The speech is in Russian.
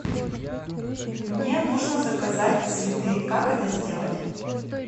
мне нужно заказать цветы как это сделать